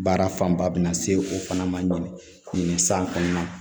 Baara fanba bɛna se o fana ma san kɔnɔnan